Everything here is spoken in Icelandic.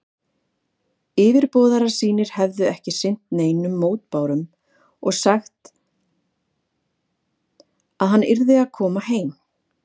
Yfirboðarar sínir hefðu ekki sinnt neinum mótbárum og sagt, að hann yrði að koma heim.